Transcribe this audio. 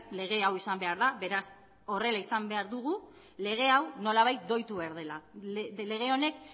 lege hau izan behar da beraz horrela izan behar dugu lege hau nolabait doitu behar dela lege honek